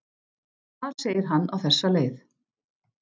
Þar segir hann á þessa leið: